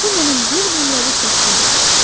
Bu mənim bir nömrəli şəklim idi.